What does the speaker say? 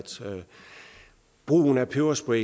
brugen af peberspray